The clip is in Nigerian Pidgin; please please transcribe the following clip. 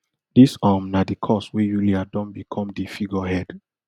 dis um na di cause wey yulia don become di figurehead